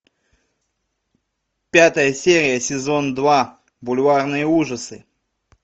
пятая серия сезон два бульварные ужасы